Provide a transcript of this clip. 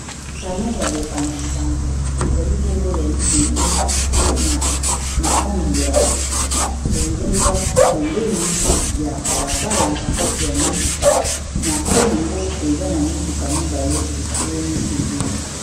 pano ya bopanzi-sango ezali bongo ya libende na langi ya bozenga pembeni ya balabala ya mituka na se ango eza na mituka mibale etelemi pembeni